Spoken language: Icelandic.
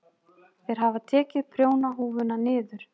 Þeir hafa tekið prjónahúfuna niður.